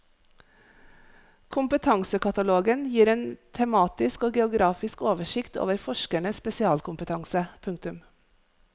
Kompetansekatalogen gir en tematisk og geografisk oversikt over forskernes spesialkompetanse. punktum